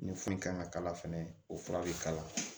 Ni foyi kan ka kala fɛnɛ o fura bi kalan